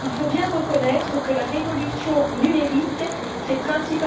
il faut bien reconnaître que la révolution numérique s'est principalement faite en dehors de nos frontières.